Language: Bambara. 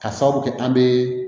Ka sababu kɛ an bɛ